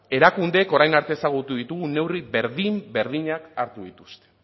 erakundeek orain arte ezagutu ditugun neurri berdin berdinak hartu dituzte